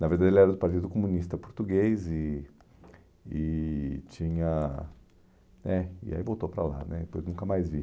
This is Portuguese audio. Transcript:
Na verdade, ele era do Partido Comunista Português e e tinha... né E aí voltou para lá né, depois nunca mais vi.